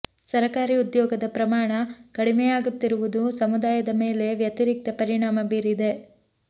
ಸರಕಾರಿ ಉದ್ಯೋಗದ ಪ್ರಮಾಣ ಕಡಿಮೆಯಾಗುತ್ತಿರುವುದು ಸಮುದಾಯದ ಮೇಲೆ ವ್ಯತಿರಿಕ್ತ ಪರಿಣಾಮ ಬೀರಿದೆ